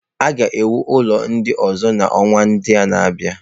A ga-ewu ụlọ ndị ọzọ n'ọnwa ndị na-abịa.